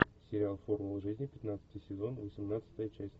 сериал формула жизни пятнадцатый сезон восемнадцатая часть